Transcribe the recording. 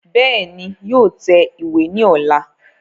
Bẹ́ẹ̀ni, yóò tẹ ìwé ní ọ̀la